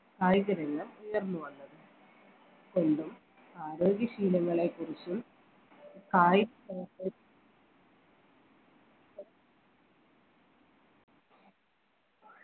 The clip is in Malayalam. കായികരംഗം ഉയർന്ന് വന്നത് സ്വന്തം ആരോഗ്യശീലങ്ങളെ കുറിച്ച്